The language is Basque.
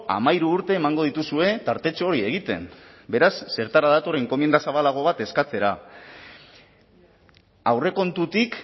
hamairu urte emango dituzue tartetxo hori egiten beraz zertara dator enkomienda zabalago bat eskatzera aurrekontutik